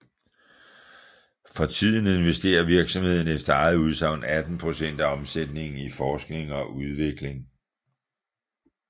For tiden investerer virksomheden efter eget udsagn 18 procent af omsætningen i forskning og udvikling